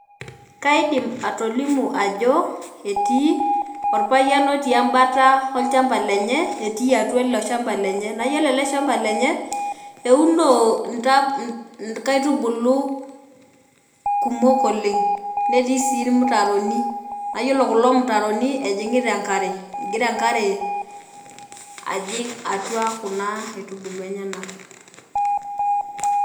Kaidim atolimu ajo etii orpayian otii embata olchamba lenye, etii atua ilo shamba lenye , naa yiolo ele shamba lenye , euno nkaitubulu kumok oleng netii sii irmutaroni naa yiolo kulo mutaroni ejingita enkare , egira enkare ajing atua kuna aitubulu enyenak .